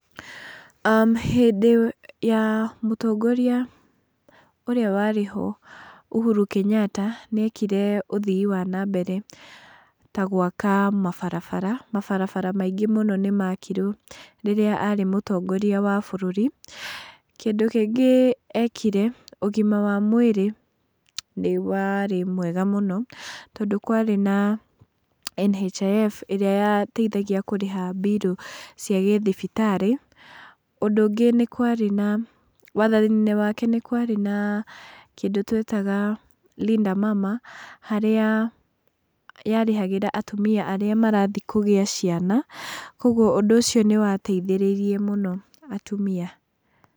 Hĩndĩ ya mũtongoria ũrĩa warĩ ho Uhuru Kenyatta, nĩekire ũthii wa nambere ta gwaka barabara, mabarabara maingĩ mũno nĩmaakirwo rĩrĩa arĩ mũtongoria wa bũrũri, kĩndu kĩngĩ ekire, ũgima wa mwĩrĩ nĩwarĩ mwega mũno, tondũ kwarĩ na NHIF ĩrĩa yateithagia kũrĩha mbirũ cia gĩthibitarĩ. Ũndũ ũngĩ nĩ kwarĩ na, wathani-inĩ wake nĩ kwarĩ na kĩndũ twetaga Linda Mama, harĩa yarĩhagĩra atumia arĩa marathiĩ kũgĩa ciana, koguo ũndũ ũcio nĩwateithĩrĩirie mũno atumia.